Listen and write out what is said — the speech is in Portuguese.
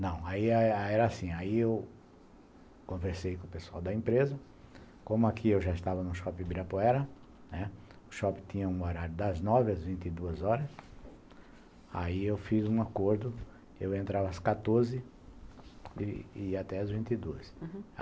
Não, aí era assim, aí eu conversei com o pessoal da empresa, como aqui eu já estava no Shopping Ibirapuera, né, o shopping tinha um horário das nove às vinte e duas horas, aí eu fiz um acordo, eu entrava às quatorze e ia até às vinte e duas, uhum.